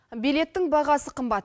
билеттің бағасы қымбат